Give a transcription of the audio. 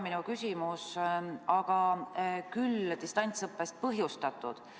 Minu küsimus ei ole distantsõppe kohta, aga on distantsõppest ajendatud.